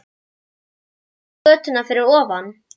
Kemur upp á götuna fyrir ofan.